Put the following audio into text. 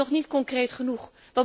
Die is nog niet concreet genoeg.